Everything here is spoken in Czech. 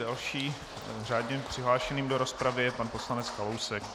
Dalším řádně přihlášeným do rozpravy je pan poslanec Kalousek.